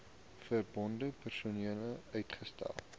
verbonde persone uitgesluit